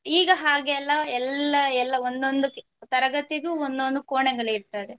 ಈಗ ಹಾಗೆ ಅಲ್ಲ ಎಲ್ಲಾ ಎಲ್ಲಾ ಒಂದೊಂದು ತರಗತಿಗೂ ಒಂದೊಂದು ಕೋಣೆಗಳು ಇರ್ತದೆ.